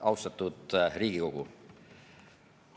Austatud Riigikogu!